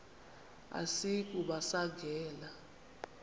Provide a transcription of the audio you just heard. asiyi kuba sangena